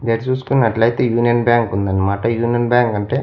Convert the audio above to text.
మీరు చూసుకున్నట్లయితే Union Bank ఉంది అనమాట యూనియన్ బ్యాంక్ అంటే--